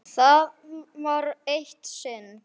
Það var eitt sinn.